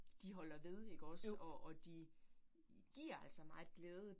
De holder ved ikke også og og de giver altså meget glæde